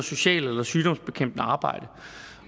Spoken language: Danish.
socialt eller sygdomsbekæmpende arbejde